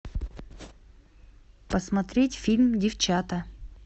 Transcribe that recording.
посмотреть фильм девчата